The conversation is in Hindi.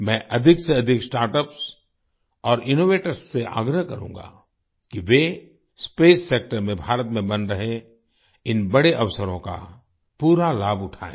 मैं अधिक से अधिक स्टार्टअप्स और इनोवेटर से आग्रह करूँगा कि वे स्पेस सेक्टर में भारत में बन रहे इन बड़े अवसरों का पूरा लाभ उठाएँ